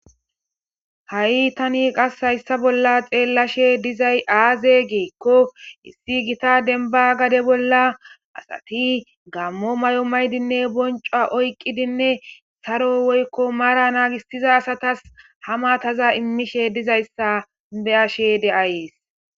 Ha'i taani qaase hayssan bolla xeelashe de'zay aze giikko issi giiththa dembba gaade bolla asatti gaamo may'o mayidinne bonchuwa oykiddinne haaro woyko maara nagisida asatas ha maaththaza immishe de'zay be'ashe de"ays